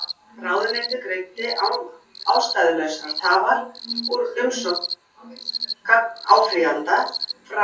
Ráðuneytið greiddi án ástæðulausrar tafar úr umsókn gagnáfrýjanda frá